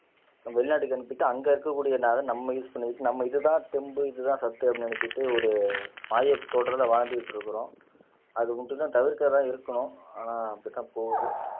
வெளிநாட்டுக்கு அனுப்பிட்டு அங்க இருக்கக்கூடிய நம்ம யூஸ் பண்ணிட்டு நம்ம இதுதான் தெம்பு இதுதான் சத்து அப்படின்னு நினைச்சுட்டு ஒரு மாய தோற்றத்துல வாழ்ந்துகிட்டு இருக்கிறோம் அது மட்டும்தான் தவிர்க்கறதான் இருக்கணும் ஆனா அப்படிதான் போகுது